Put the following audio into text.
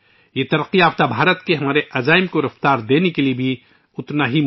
اس سے ترقی یافتہ بھارت کے ہمارے عزم کو پورا کرنے کی رفتار کو تقویت ملے گی